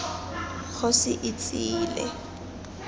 kgosietsile